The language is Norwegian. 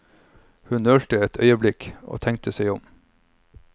Hun nølte et øyeblikk, tenkte seg om.